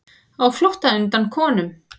Á flótta undan konum